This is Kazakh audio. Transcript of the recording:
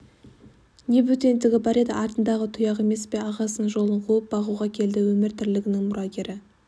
не бөтендігі бар еді артындағы тұяғы емес пе ағасының жолын қуып қой бағуға келді өмір-тірлігінің мұрагері